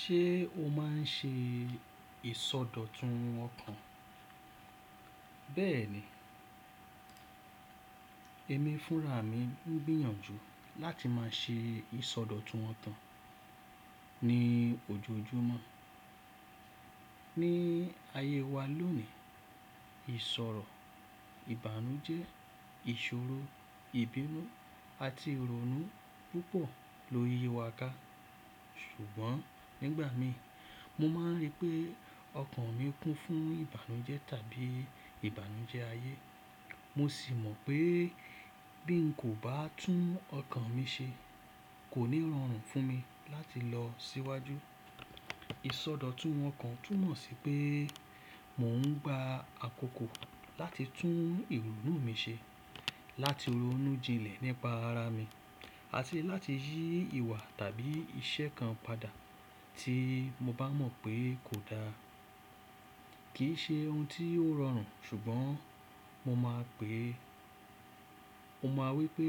Ṣé o máa ń ṣe ìsọdọ̀tun ọkàn? Bẹ́ẹ̀ni, èmi fúnra mi ń gbìyànjú láti máa ṣe ìsọdọ̀tun okan ní ojoojúmọ́. Ní ayé wa lónìí, ìṣọ̀rọ̀ ìbànújẹ́, ìṣòro, ìbínú àti ìrònú púpọ̀ ló yi wa ká. Ṣùgbọ́n nígbà mi, mo máa ń rí pé ọkàn mi kún fún ìbànújẹ́ tàbí ìbànújẹ́ ayé. Mo sì mọ̀ pé bí n kò bá tún ọkàn mi ṣe, kò ní rọrùn fún mi láti lọ síwájú. Ìsọdọ̀tun ọkàn tún mọ̀ sí pé mò ń gba àkókò láti tún ìrònú mi ṣe, láti ronú jinlẹ̀ nípa ara mi àti láti yí ìwà tàbí iṣẹ́ kan padà tí mo bá mọ̀ pé kò dáa. Kì í ṣe ohun tí ó rọrùn, ṣùgbọ́n mo máa pè é, mo máa wí pé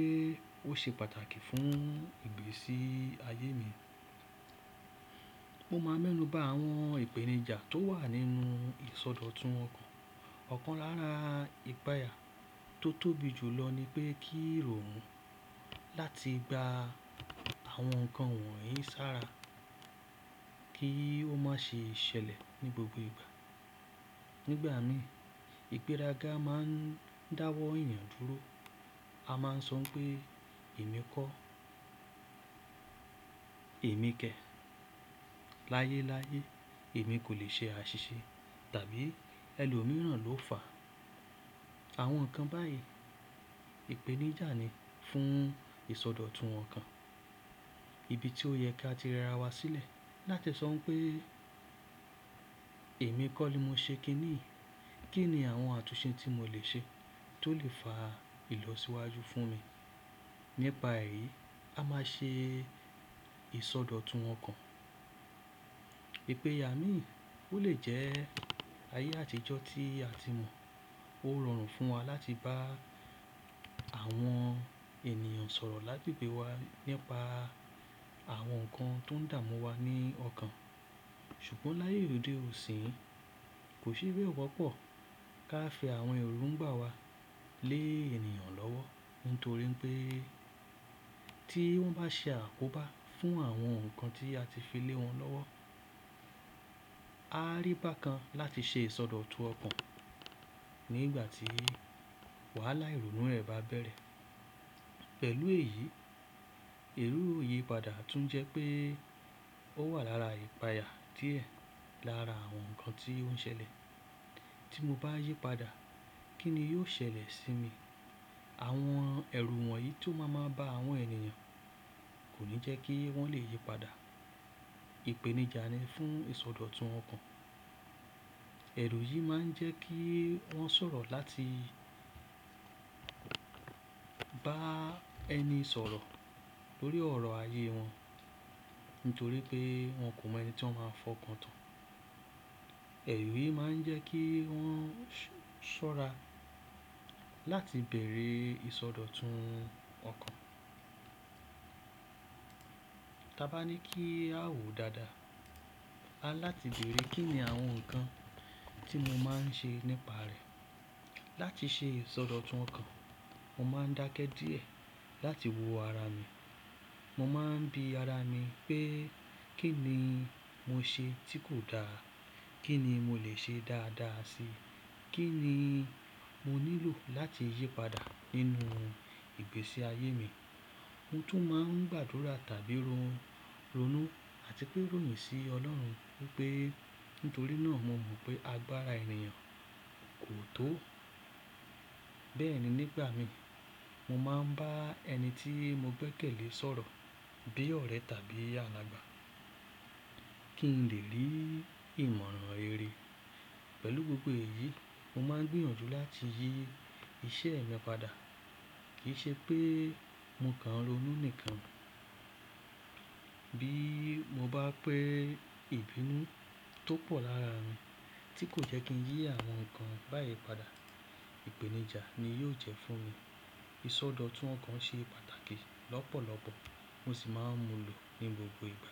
ó ṣe pàtàkì fún ìgbésí ayé mi. Mo máa ń mẹ́nuba àwọn ìpèníjà tó wà nínú ìsọdọ̀tun ọkàn. Ọ̀kan lára ìpààyà tó tóbi jù lọ ni pé kí irònu láti gba àwọn nǹkan wọ̀nyí sára kí ó má ṣe ṣẹlẹ̀ ní gbogbo ìgbà. Nígbà mi, ìgbéraga máa ń dáwọ́ ènìyàn dúró. A máa ń sọ pé èmi kọ́, èmi kẹ̀. Láyé láyé, èmi kò lè ṣe àṣìṣe tàbí ẹlòmíràn ló fà. Àwọn nǹkan báyìí ìpèníjà ni fún ìsọdọ̀tun ọkàn, ibi tí ó yẹ ká ti rẹra wa sílẹ̀ láti sọ pé èmi kọ́ ni mo ṣe kíní. Kí ni àwọn àtúnṣe tí mo lè ṣe tó lè fa ìlọsíwájú fún mi nípa ẹ̀yi? A máa ṣe ìsọdọ̀tun ọkàn. Ìpèyà mí, ó lè jẹ́ ayé àtijọ́ tí a ti mọ̀, ó rọrùn fún wa láti bá àwọn ènìyàn sọ̀rọ̀ lá gbégbe wa nípa àwọn nǹkan tó ń dààmú wa ní ọkàn. Ṣùgbọ́n láyé òde òní, kò ṣe bẹ́ẹ̀ wọ́pọ̀ ká fi àwọn èròǹgbà wa lé ènìyàn lọ́wọ́. Nítorí pé tí wọ́n bá ṣe àkóbá fún àwọn nǹkan tí a ti fi lé wọn lọ́wọ́, a á rí bákan láti ṣe ìsọdọ̀tun ọkàn nígbà tí wàhálà ìrònú rẹ̀ bá bẹ̀rẹ̀. Pẹ̀lú èyí, èrù ìyípadà tún jẹ́ pé ó wà lára ìpààyà díẹ̀ lára àwọn nǹkan tí ó ń ṣẹlẹ̀. Tí mo bá yípadà, kí ni yóò ṣẹlẹ̀ sí mi? Àwọn ẹ̀rù wọ̀nyí tó máa maa bá àwọn ènìyàn kò ní jẹ́ kí wọ́n lè yípadà. Ìpèníjà ni fún ìsọdọ̀tun ọkàn. Ẹ̀rù yìí máa ń jẹ́ kí wọ́n sọ̀rọ̀ láti bá ẹni sọ̀rọ̀ tórí ọ̀rọ̀ ayé wọn. Nítorí pé wọn kò mọ ẹni tí wọ́n máa fọ́kàn tán. Ẹ̀rù yìí máa ń jẹ́ kí wọ́n ṣọ́ra láti beree ìsọdọ̀tun ọkàn. Taa bá ní kí a wò dáadáa, a láti bere kí ni àwọn nǹkan tí mo máa ń ṣe nípa rẹ̀. Láti ṣe ìsọdọ̀tun ọkàn, mo máa ń dákẹ́ díẹ̀ láti wo ara mi. Mo máa ń bi ara mi pé kí ni mo ṣe tí kò dáa. Kí ni mo lè ṣe dáadáa si. Kí ni mo nílò láti yípadà nínú ìgbésí ayé mi. Mo tún máa ń gbàdúrà tàbí ronú àti pé ròyìn sí Ọlọ́run pé nítorí náà mo mọ̀ pé agbára ènìyàn kò tó. Bẹ́ẹ̀ni, nígbà mi, mo máa ń bá ẹni tí mo gbẹ́kẹ̀lé sọ̀rọ̀, bí ọ̀rẹ́ tàbí alàgbà kí n lè rí ìmọ̀ràn rere. Pẹ̀lú gbogbo èyí, mo máa ń gbìyànjú láti yí iṣẹ́ e mi padà. Kì í ṣe pé mo kàn n ronú nìkan. Bí mo bá pé ìbínú tó pọ̀ lára mi tí kò jẹ́ kí n yí àwọn nǹkan báyìí padà, ìpèníjà ni yóò jẹ́ fún mi. Ìsọdọ̀tun ọkàn ṣe pàtàkì lọ́pọ̀lọ́pọ̀ mo sì máa ń mú lọ ní gbogbo ìgbà.